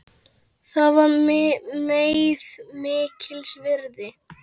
Það var þeim mikils virði.